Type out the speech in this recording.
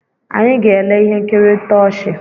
Anyị ga-ele ihe nkiri ntọchị